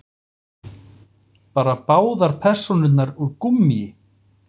Bara báðar persónurnar úr gúmmíi.